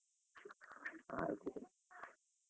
.